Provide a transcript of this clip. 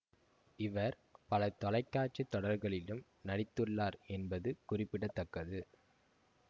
இவர் பல தொலைக்காட்சி தொடர்களிலும் நடித்துள்ளார் என்பது குறிப்பிட தக்கது